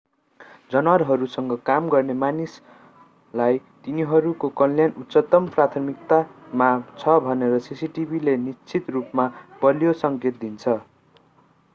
जनावरहरूसँग काम गर्ने मानिसलाई तिनीहरूको कल्याण उच्चतम प्राथमिकतामा छ भनेर सिसिटिभीले निश्चित रूपमा बलियो सङ्केत दिन्छ